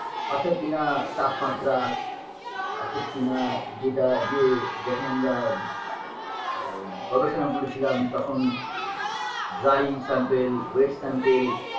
অর্থাৎ কিনা তাপমাত্রা অর্থাৎ কিনা যেটা যে যখন আমরা আ গবেষণা করেছিলাম তখন dry sample wet sample